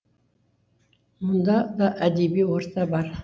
мұнда да әдеби орта бар